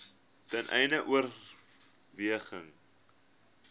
ten einde oorweging